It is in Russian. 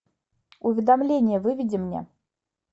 уведомление выведи мне